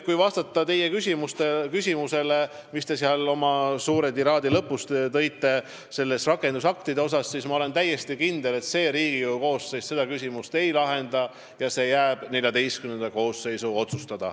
Kui vastata teie küsimusele rakendusaktide kohta, mis selle pika tiraadi lõpus kõlas, siis ma olen täiesti kindel, et see Riigikogu koosseis seda küsimust ei lahenda, see jääb XIV koosseisu otsustada.